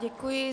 Děkuji.